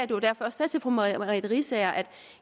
det var derfor jeg sagde til fru merete riisager at